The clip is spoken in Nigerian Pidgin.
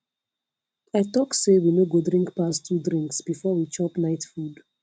i talk say we no go drink pass 2 drinks before we chop night food